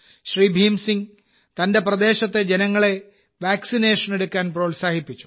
ഭീം സിംഗ് തന്റെ പ്രദേശത്തെ ജനങ്ങളെ വാക്സിനേഷൻ എടുക്കാൻ പ്രോത്സാഹിപ്പിച്ചു